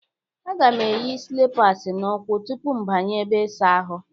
Aga m eyi slịpas n'ụkwụ tupu m banye ebe ịsa ahụ.